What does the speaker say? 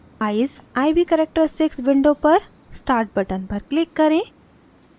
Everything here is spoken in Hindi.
eyes: iv characteristics window पर start button पर click करें